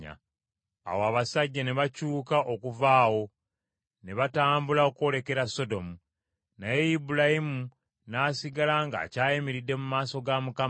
Awo abasajja ne bakyuka okuva awo, ne batambula okwolekera Sodomu; naye Ibulayimu n’asigala ng’akyayimiridde mu maaso ga Mukama .